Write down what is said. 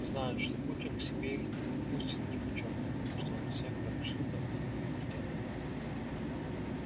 знают что путин к себе их не подпустит нипочём потому что он всех ротшильдов на хую вертел